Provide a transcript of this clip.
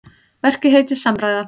Verkið heitir Samræða.